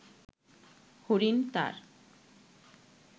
হরিণ তার